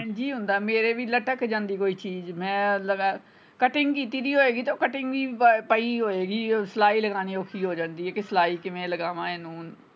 ਹੁੰਦਾ ਮੇਰੇ ਵੀ ਲਟਕ ਜਾਂਦੀ ਚੀਜ ਮੈਂ ਲਗਾ cutting ਕੀਤੀ ਨਹੀਂ ਹੋਏਗੀ ਉਹ cutting ਵੀ ਪਈ ਹੋਵੇਗੀ ਸਲਾਈ ਲਗਾਉਣੀ ਔਖੀ ਹੋ ਜਾਂਦੀ ਕਿ ਸਲਾਈ ਕਿਵੇਂ ਲਗਾਵਾਂ ਇਹਨੂੰ।